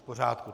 V pořádku.